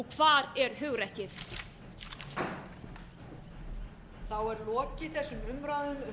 hvar er réttlætið hvar er samstaðan hvar eru hugrekkið